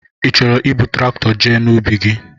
Ị chọrọ ibu Traktọ jee n'ubi gị?